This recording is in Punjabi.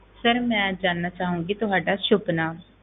Sir ਮੈਂ ਜਾਣਨਾ ਚਾਹਾਂਗੀ ਤੁਹਾਡਾ ਸੁੱਭ ਨਾਮ।